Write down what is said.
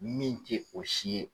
Min tɛ o si ye.